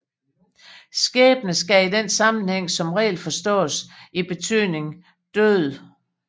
Skæbne skal i den sammenhæng som regel forstås i betydningen død